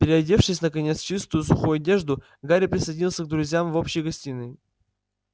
переодевшись наконец в чистую сухую одежду гарри присоединился к друзьям в общей гостиной